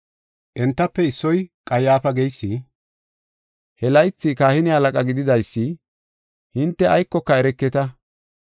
Entafe issoy Qayyaafa geysi, he laythi kahine halaqa gididaysi, “Hinte aykoka ereketa!